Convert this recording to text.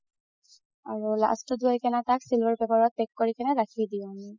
আৰু last ত যাই কিনে তাক singular cover ত pack কৰি কিনে ৰাখি দিও আমি